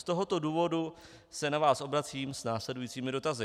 Z tohoto důvodu se na vás obracím s následujícími dotazy.